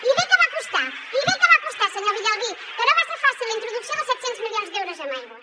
i bé que va costar i bé que va costar senyor villalbí que no va ser fàcil la introducció dels set cents milions d’euros en aigua